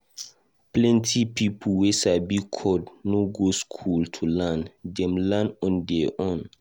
Plenty people wey sabi code no go school to learn, Dem just learn on their own.